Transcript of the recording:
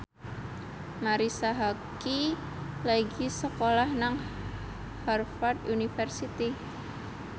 Marisa Haque lagi sekolah nang Harvard university